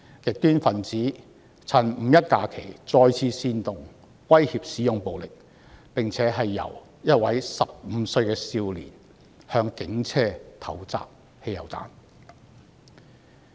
極端分子趁"五一"假期再次煽動，威脅使用暴力，更有一名15歲少年向警車投擲汽油彈。